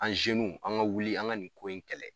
An an ga wuli, an ga nin ko in kɛlɛ.